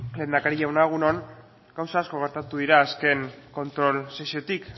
lehendakari jauna egun on gauza asko gertatu dira azken kontrol sesiotik